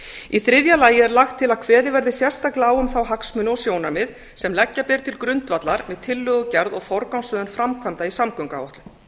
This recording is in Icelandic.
í þriðja lagi er lagt til að kveðið verði sérstaklega á um þá hagsmuni og sjónarmið sem leggja ber til grundvallar með tillögugerð og forgangsröðun framkvæmda í samgönguáætlun